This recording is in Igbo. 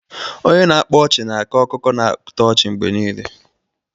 Onye na-akpa ọchị na-ako akụkọ na-atọ ọchị mgbe niile.